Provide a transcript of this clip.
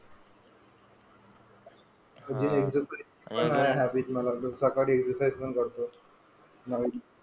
आणि आहे हॅबिट मला सकाळी एक्सरसाइज पण करतो. भारी की.